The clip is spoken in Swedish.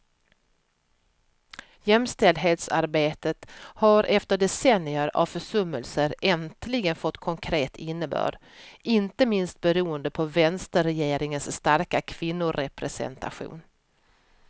Jämställdhetsarbetet har efter decennier av försummelser äntligen fått konkret innebörd, inte minst beroende på vänsterregeringens starka kvinnorepresentation.